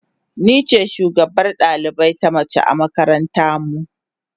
Ni ce shugabar dalibai na mace a makaranta mu.